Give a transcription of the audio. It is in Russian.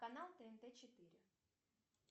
канал тнт четыре